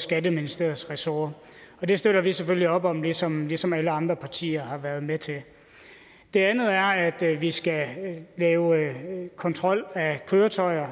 skatteministeriets ressort og det støtter vi selvfølgelig op om ligesom ligesom alle andre partier har været med til det det andet er at vi skal lave kontrol af køretøjer